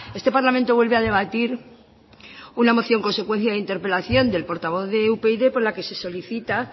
este parlamento vuelve a debatir una moción consecuencia de interpelación del portavoz de upyd por la que se solicita